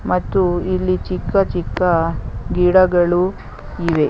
ಮತ್ತು ಇಲ್ಲಿ ಚಿಕ್ಕ ಚಿಕ್ಕ ಗಿಡಗಳು ಇವೆ.